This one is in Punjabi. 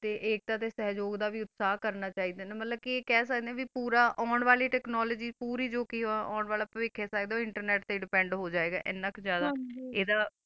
ਤਾ ਏਕ ਤਾਰਾ ਦਾ ਸਲੋਕ ਦਾ ਵੀ ਵਾਸਾ ਕਰਨਾ ਫੰਦਾ ਆ ਮਤਲਬ ਕਾ ਏਹਾ ਖਾ ਸਕਦਾ ਆ ਕਾ ਆਂ ਵਾਲੀ technology ਤਾ ਓਨ ਅਲੀ ਵੀ internet ਦਾ ਹੀ ਕਾਮ ਹੋ ਸਕਦਾ ਆ